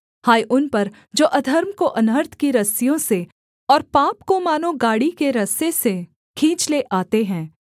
हाय उन पर जो अधर्म को अनर्थ की रस्सियों से और पाप को मानो गाड़ी के रस्से से खींच ले आते हैं